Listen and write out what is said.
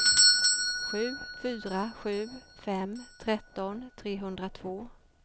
sju fyra sju fem tretton trehundratvå